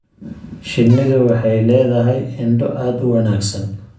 Shinnidu waxay leedahay indho aad u wanaagsan.